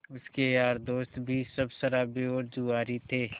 उसके यार दोस्त भी सब शराबी और जुआरी थे